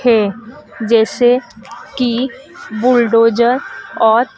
है जैसे कि बुलडोजर और--